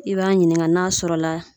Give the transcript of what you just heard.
I b'a ɲininka n'a sɔrɔ la